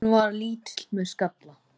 Hann var lítill með skalla.